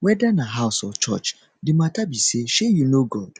weda na house or church the mata be say shey yu know god